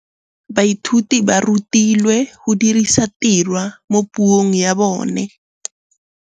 Baithuti ba rutilwe go dirisa tirwa mo puong ya bone.